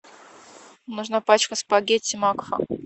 нужна пачка спагетти макфа